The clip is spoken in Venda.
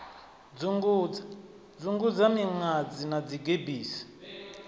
dzungudza dzungudza miṅadzi na dzigebisi